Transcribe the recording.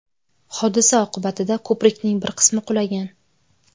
Hodisa oqibatida ko‘prikning bir qismi qulagan.